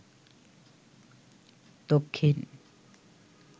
দক্ষিণ